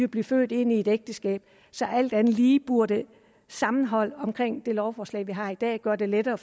blive født ind i et ægteskab så alt andet lige burde sammenhold omkring det lovforslag vi har i dag gøre det lettere